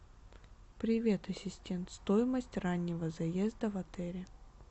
привет ассистент стоимость раннего заезда в отеле